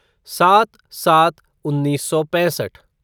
सात सात उन्नीस सौ पैंसठ